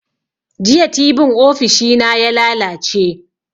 Jiya tibin ofishi na ya lalace